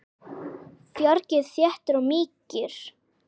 Fargið þéttir og mýkir kökuna.